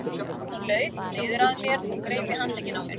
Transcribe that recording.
Hún laut niður að mér og greip í handlegginn á mér.